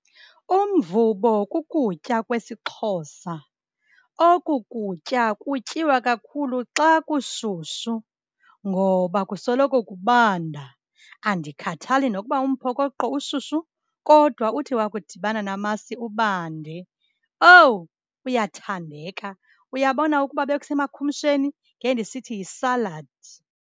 Umvubo kukutya kwesiXhosa. Oku kutya kutyiwa kakhulu xa kushushu ngoba kusoloko kubanda. Andikhathali nokuba umphokoqo ushushu kodwa uthi wakudibana namasi ubande. Owu, uyathandeka! Uyabona ukuba bekusemakhumsheni, ngendisithi yisaladi.